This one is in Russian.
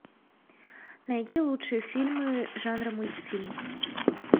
найди лучшие фильмы жанра мультфильм